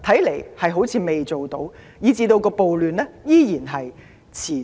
答案似乎是否定的，此所以暴亂依然持續。